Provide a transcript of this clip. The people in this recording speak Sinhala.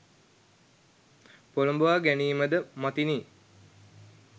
පොළොඹවා ගැනීම ද මතිනි.